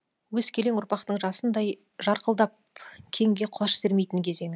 өскелең ұрпақтың жасындай жарқылдап кеңге құлаш сермейтін кезеңі